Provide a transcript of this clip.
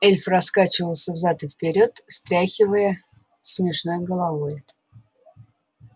эльф раскачивался взад и вперёд встряхивая смешной головой